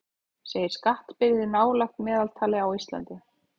Segir skattbyrði nálægt meðaltali á Íslandi